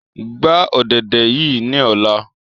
Gba ọ̀dẹ̀dẹ̀ yii ni ọla!